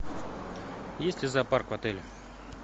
есть ли зоопарк в отеле